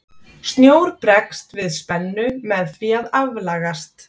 snjór bregst við spennu með því að aflagast